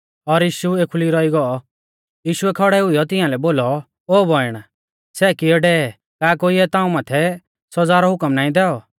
यीशुऐ खौड़ै हुईयौ तियांलै बोलौ ओ बौइण सै कियै डेवै ई का कोइऐ ताऊं माथै सौज़ा रौ हुकम नाईं दैऔ